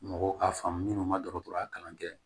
Mɔgɔw k'a faamu minnu ma dɔgɔtɔrɔya kalan kɛ